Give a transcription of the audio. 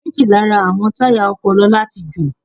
Méjì Lára àwọn táyà ọkọ̀ lọ́la tí jo ò.